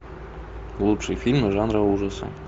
лучшие фильмы жанра ужасы